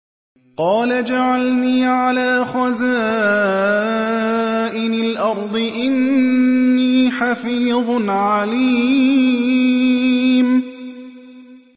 قَالَ اجْعَلْنِي عَلَىٰ خَزَائِنِ الْأَرْضِ ۖ إِنِّي حَفِيظٌ عَلِيمٌ